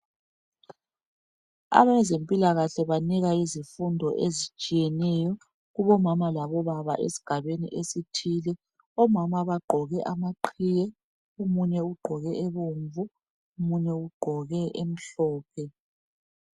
Abezempilakahle banika izifundo ezitshiyeneyo kubomama labo baba esigabeni esithile. Omama bagqoke amaqhiye omunye ugqoke ebomvu omunye ugqoke emhlophe.